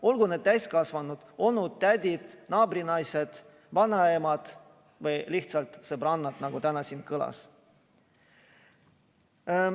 Olgu need täiskasvanud onud-tädid, naabrinaised, vanaemad või lihtsalt sõbrannad, nagu täna siin kõlas.